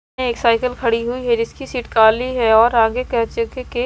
है एक साइकिल खड़ी हुई है जिसकी सीट काली है और आगे कैंच के--